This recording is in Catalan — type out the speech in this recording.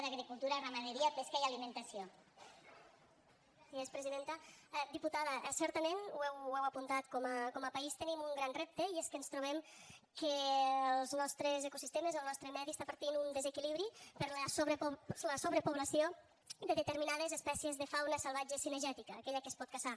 diputada certament ho heu apuntat com a país tenim un gran repte i és que ens trobem que els nostres ecosistemes el nostre medi està patint un desequilibri per la sobrepoblació de determinades espècies de fauna salvatge cinegètica aquella que es pot caçar